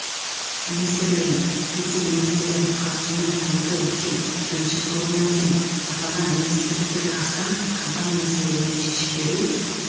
министрлігінің вице-министрлері қатысуымен тамызда өткен бірінші форумынан кейін аталған министрліктерге астам компания мәселелерін шешіп беру